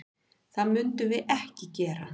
Það munum við ekki gera.